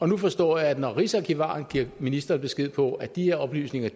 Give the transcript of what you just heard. nu forstår jeg at når rigsarkivaren giver ministeren besked på at de her oplysninger